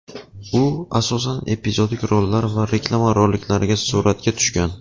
U, asosan, epizodik rollar va reklama roliklarida suratga tushgan.